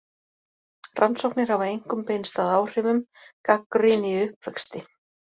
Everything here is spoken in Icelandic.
Rannsóknir hafa einkum beinst að áhrifum: Gagnrýni í uppvexti.